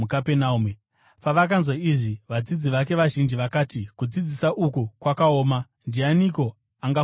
Pavakanzwa izvi, vadzidzi vake vazhinji vakati, “Kudzidzisa uku kwakaoma. Ndianiko angakugamuchira?”